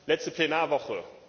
letzte Plenarwoche.